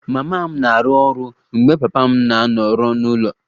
Mama m na-arụ ọrụ mgbe papa m na-anọrọ n'ụlọ